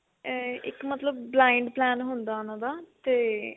ah ਇੱਕ ਮਤਲਬ blind plan ਹੁੰਦਾ ਉਹਨਾ ਦਾ ਤੇ